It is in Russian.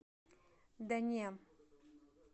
да не